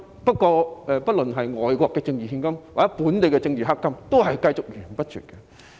不論是外國的政治獻金，抑或本地的政治黑金，也會繼續綿綿不絕。